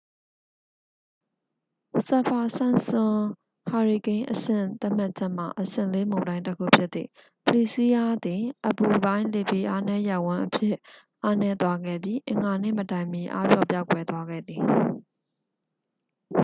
စပ်ဖာ-စန့်ပ်စွန် ဟာရီကိန်းအဆင့်သတ်မှတ်ချက်မှ အဆင့် 4 မုန်တိုင်းတစ်ခုဖြစ်သည့် ဖလီစီးရား သည် အပူပိုင်း လေဖိအားနည်းရပ်ဝန်းအဖြစ် အားနည်းသွားခဲ့ပြီး အင်္ဂါနေ့မတိုင်မီ အားပျော့ပျောက်ကွယ်သွားခဲ့သည်